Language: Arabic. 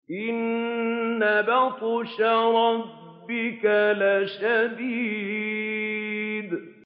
إِنَّ بَطْشَ رَبِّكَ لَشَدِيدٌ